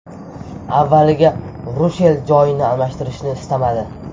Avvaliga Rushel joyini almashtirishni istamadi.